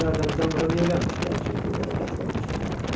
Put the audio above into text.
Onlar Hərbizdən bura niyə gəlmişdilər ki, burada da qətl olunsunlar?